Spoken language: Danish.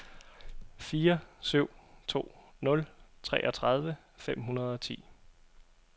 fire syv to nul treogtredive fem hundrede og ti